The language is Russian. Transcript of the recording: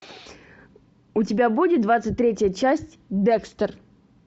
у тебя будет двадцать третья часть декстер